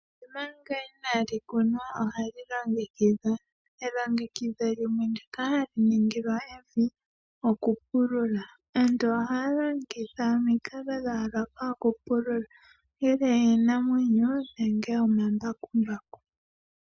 Evi omanga inaali kunwa, ohali longekidhwa. Elongekidho limwe ndika hali ningilwa evi, okupulula. Aantu ohaya longitha omikalo dhayooloka okupulula, ongele iinamwenyo nenge omambakumbaku.